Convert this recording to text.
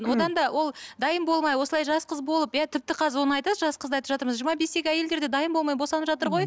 одан да ол дайын болмай осылай жас қыз болып иә тіпті қазір оны айтасыз жас қызды айтып жатырмыз жиырма бестегі әйелдер де дайын болмай босанып жатыр ғой